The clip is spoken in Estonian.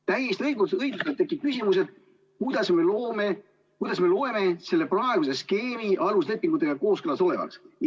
Täiesti õigustatult tekib küsimus, et kuidas me loeme selle praeguse skeemi aluslepingutega kooskõlas olevaks.